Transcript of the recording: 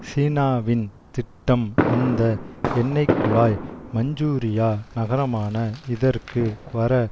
சீனாவின் திட்டம் அந்த எண்ணெய்க்குழாய் மஞ்ஜூரியா நகரமான இதற்கு வர